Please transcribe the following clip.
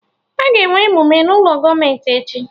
Aga enwe emume n'ụlọ gọọmenti echi